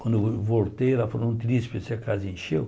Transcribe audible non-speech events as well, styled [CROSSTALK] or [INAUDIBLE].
Quando vo voltei, ela falou, não te disse, [UNINTELLIGIBLE] a casa encheu.